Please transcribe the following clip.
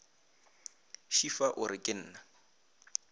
šefa o re ke na